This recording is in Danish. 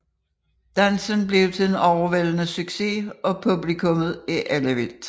Dansen bliver en overvældende succes og publikummet er ellevildt